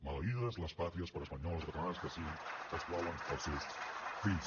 maleïdes les pàtries per espanyoles o catalanes que siguin que exclouen els seus fills